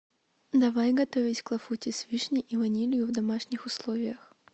давай готовить клафути с вишней и ванилью в домашних условиях